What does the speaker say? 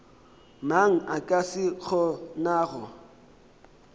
mang a ka se kgonago